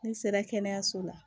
N'i sera kɛnɛyaso la